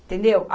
Entendeu?